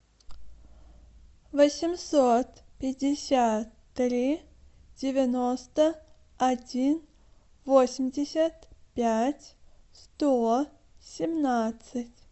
восемьсот пятьдесят три девяносто один восемьдесят пять сто семнадцать